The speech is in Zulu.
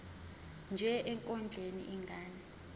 nje ekondleni ingane